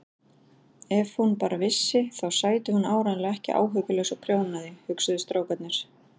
Ef hún bara vissi þá sæti hún áreiðanlega ekki áhyggjulaus og prjónaði, hugsuðu strákarnir.